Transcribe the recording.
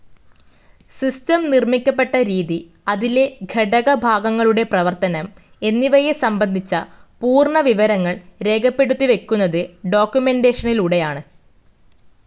System നിർമ്മിക്കപ്പെട്ട രീതി, അതിലെ ഘടകഭാഗങ്ങളുടെ പ്രവർത്തനം എന്നിവയെ സംബന്ധിച്ച പൂർണ വിവരങ്ങൾ രേഖപ്പെടുത്തിവയ്ക്കുന്നത് ഡോക്കുമെന്റേഷനിലൂടെയാണ്.